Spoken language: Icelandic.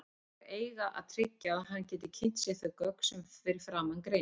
Þær eiga að tryggja að hann geti kynnt sér þau gögn sem að framan greinir.